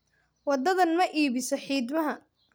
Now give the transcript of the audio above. Waddadan ma iibiso xiidmaha